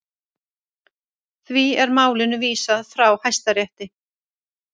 Því er málinu vísað frá Hæstarétti